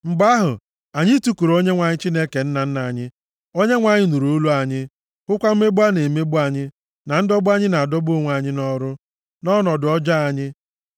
Mgbe ahụ, anyị tikuru Onyenwe anyị Chineke nna nna anyị. Onyenwe anyị nụrụ olu anyị, hụkwa mmegbu a na-emegbu anyị, na ndọgbu anyị na-adọgbu onwe anyị nʼọrụ, na ọnọdụ ọjọọ anyị.